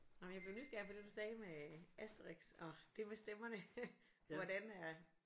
Nåh men jeg blev nysgerrig på det du sagde med Asterix og det med stemmerne hvordan er